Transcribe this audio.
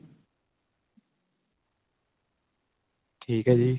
ਠੀਕ ਏ ਜੀ.